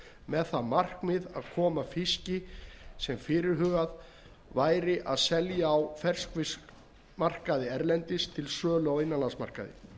með það markmið að koma fiski sem fyrirhugað væri að selja á ferskfiskmarkaði erlendis til sölu á innanlandsmarkaði